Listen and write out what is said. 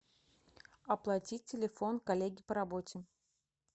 оплатить телефон коллеги по работе